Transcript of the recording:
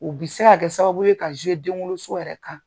U bi se ka kɛ sababu ye ka den wolo so yɛrɛ kan.